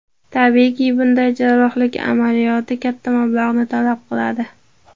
Tabiiyki, bunday jarrohlik amaliyoti katta mablag‘ni talab qiladi.